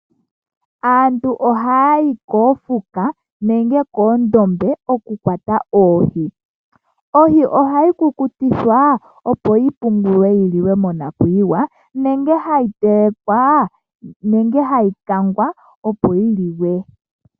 Aantu oha ya yi koofuka nenge koondombe oku ka kwata oohi. Ohi ohayi kukutikwa opo yi pungulwe yi li we monakuyiwa nenge ha yi telekwa nenge yi kangwe opo yi liwe.